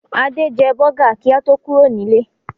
Adé jẹ bọ́gà kí a tó kúrò nílé.